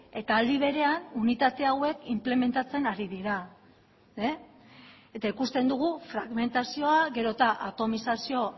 eta aldi berean unitate hauek inplementatzen ari dira eta ikusten dugu fragmentazioa gero eta atomizazio